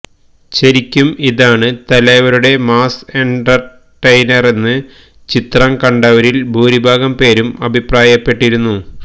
ശരിക്കും ഇതാണ് തലൈവരുടെ മാസ് എന്റര്ടെയ്നറെന്ന് ചിത്രം കണ്ടവരില് ഭൂരിഭാഗം പേരും അഭിപ്രായപ്പെട്ടിരുന്നു